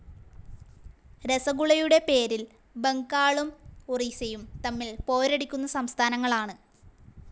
രസഗുളയുടെ പേരിൽ ബംഗാളും ഒറീസയും തമ്മിൽ പോരടിക്കുന്ന സംസ്ഥാങ്ങൾ ആണ്‌.